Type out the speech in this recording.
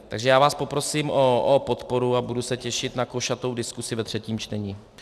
Takže já vás poprosím o podporu a budu se těšit na košatou diskusi ve třetím čtení.